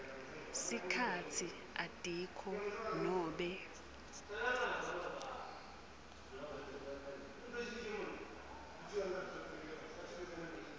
sikhatsi atikho nobe